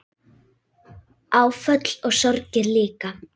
Áföll og sorgir líka.